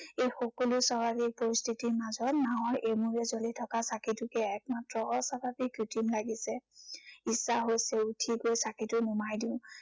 এই সকলো স্বাভাৱিক পৰিস্থিতিৰ মাজত নাঁৱৰ এমূৰে জ্বলি থকা চাঁকিটোকে একমাত্ৰ অস্বাভাৱিক কৃত্ৰিম লাগিছে। ইচ্ছা হৈছে উঠি গৈ চাঁকিটো নুমাই দিও।